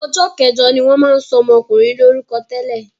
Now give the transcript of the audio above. Ọjọ́ kẹjọ ni wọ́n máa ń sọ ọmọkùnrin lórúkọ tẹ́lẹ̀.